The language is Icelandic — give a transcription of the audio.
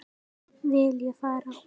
Vil ég fara?